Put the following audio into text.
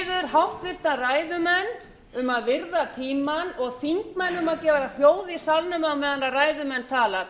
háttvirtur ræðumenn um að virða tímann og þingmenn um að gefa hljóð í salnum á meðan ræðumenn tala